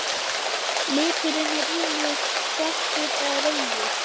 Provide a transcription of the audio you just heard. Liturinn er ýmist svartur eða rauður.